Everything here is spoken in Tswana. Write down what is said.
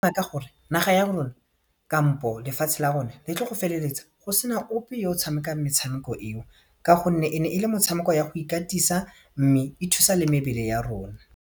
Gore naga ya rona kampo lefatshe la rona le tlo go feleletsa go sena ope yo o tshamekang metshameko eo ka gonne e ne e le motshameko ya go ikatisa mme e thusa le mebele ya rona.